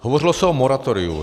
Hovořilo se o moratoriu.